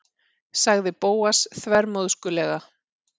sagði Bóas þvermóðskulega.